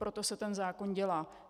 Proto se ten zákon dělá.